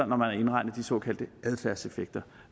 man har indregnet de såkaldte adfærdseffekter